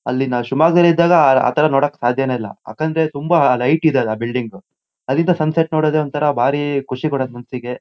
ಅಲ್ಲಿ ನಾವ್ ಶಿಮೊಗ್ಗ್ದಲ್ಲಿದ್ದಾಗ ಆ ತರ ನೋಡೋಕ್ ಸಾಧ್ಯಾನೆ ಇಲ್ಲ. ಯಾಕಂದ್ರೆ ತುಂಬಾ ಹೈಟ್ ಇದ್ಯಲ್ಲಾ ಬಿಲ್ಡಿಂಗು . ಅಲ್ಲಿಂದ ಸನ್ಸೆಟ್ ನೋಡೋದೇ ಒಂತರ ಭಾರಿ ಖುಷಿ ಕೊಡೋದ್ ಮನಸಿಗೆ.--